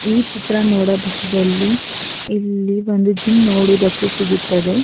ಈ ಚಿತ್ರ ನೋಡಬಹುದಲ್ಲಿ ಇಲ್ಲಿ ಒಂದು ಜಿಮ್ಮ್ ನೋಡುವುದಕ್ಕೆ ಸಿಗುತ್ತದೆ.